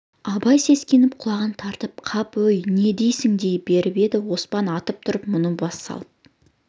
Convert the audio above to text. абай сескеніп құлағын тартып қап өй не дейсің дей беріп еді оспан атып тұрып мұны бассалып